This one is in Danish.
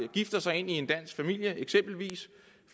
gifter sig ind i en dansk familie eksempelvis